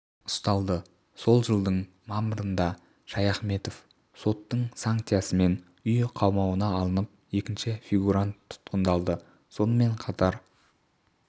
ұсталды сол жылдың мамырында шаяхметов соттың санкциясымен үй қамауына алынып екінші фигурант тұтқындалды сонымен қатар